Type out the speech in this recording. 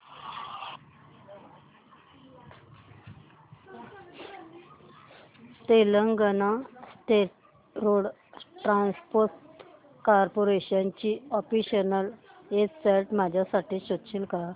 Telangana state road transport corporation ची official website माझ्यासाठी शोधशील का